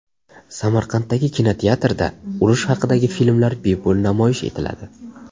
Samarqanddagi kinoteatrda urush haqidagi filmlar bepul namoyish etiladi.